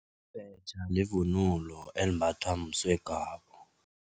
Ibhetjha livunulo elimbathwa msegwabo.